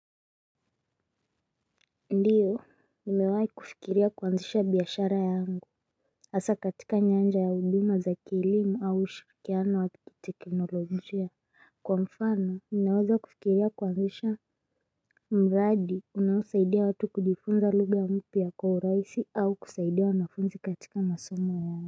Ndiyo, nimewai kufikiria kwanzisha biashara yangu hasa katika nyanja ya huduma za kielimu au ushirikiano wa kiteknolojia. Kwa mfano, ninaweza kufikiria kwanzisha mradi, unaosaidia watu kujifunza lugha mpya kwa urahisi au kusaidia wanafunzi katika masomo yao.